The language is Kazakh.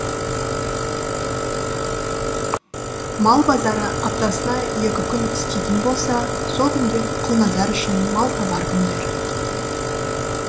мал базары аптасына екі күн істейтін болса сол күндер құлназар үшін малтабар күндер